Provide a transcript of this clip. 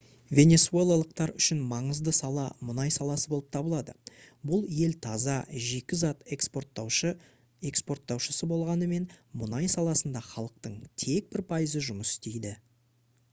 венесуэлалықтар үшін маңызды сала мұнай саласы болып табылады бұл ел таза жикі зат экспорттаушысы болғанымен мұнай саласында халықтың тек бір пайызы жұмыс істейді